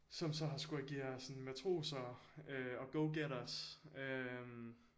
Som så har skullet agere sådan matroser øh og go-getters øh